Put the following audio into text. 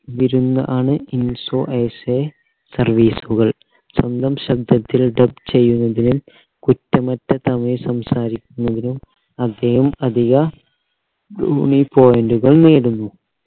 വിരുന്ന ആണ് service കൾ സ്വന്തം ശബ്ദത്തിൽ dub ചെയ്യുന്നതിന് കുറ്റമറ്റ തമിഴ് സംസാരിക്കുന്നതിനും അദ്ദേഹം അധിക point കൾ നേടുന്നു